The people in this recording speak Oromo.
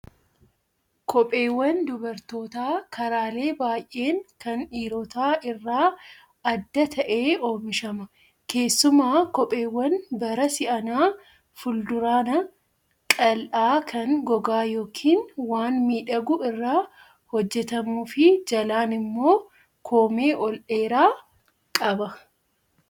Kopheewwan dubartootaa karaalee baay'een kan dhiirotaa irraa adda ta'ee oomishama. Keessumaa kopheewwan bara si'anaa fuulduraan qal'aa kan gogaa yookaan waan miidhagu irraa hojjatamuu fi jalaan immoo koomee ol dheeraa qaba.